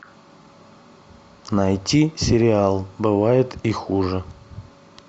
найти сериал бывает и хуже